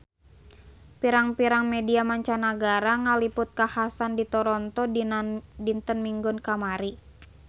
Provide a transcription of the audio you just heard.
Pirang-pirang media mancanagara ngaliput kakhasan di Toronto dinten Minggon kamari